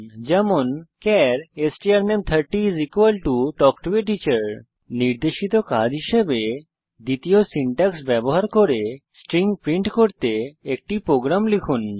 উদাহরণস্বরূপ চার strname30 তাল্ক টো A টিচার নির্দেশিত কাজ হিসাবে দ্বিতীয় সিনট্যাক্স ব্যবহার করে স্ট্রিং প্রিন্ট করতে একটি প্রোগ্রাম লিখুন